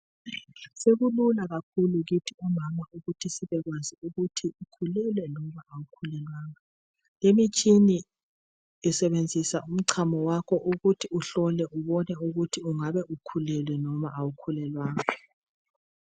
Sekulula kakhulu kithi omama ukuthi sibekwazi ukuthi ukhulelwe noma awukhulelwanga. Le imitshini lisebenzisa umthambiso wakho ukuthi uhlole ukuthi ubone ungabe ukhulelwe noma awukhulelwanga